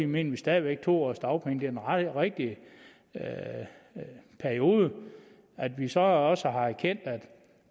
mener vi stadig væk at to års dagpenge er den rigtige periode at vi så også har erkendt at